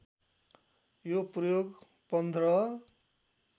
यो प्रयोग १५